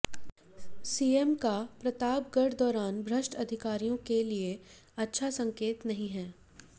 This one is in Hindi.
सीएम का प्रतापगढ़ दौरान भ्रष्ट अधिकारियों के लिए अच्छा संकेत नही है